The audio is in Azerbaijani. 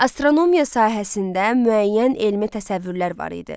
Astronomiya sahəsində müəyyən elmi təsəvvürlər var idi.